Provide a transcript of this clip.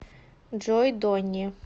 джой донни